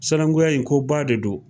Sinankuya in ko ba de don.